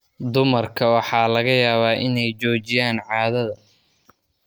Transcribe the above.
Dumarka waxaa laga yaabaa inay joojiyaan caadada caadada.